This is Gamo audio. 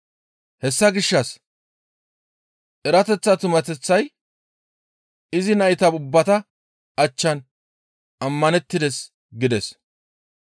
Hessa gishshas erateththa tumateththay izi nayta ubbata achchan ammanettides» gides.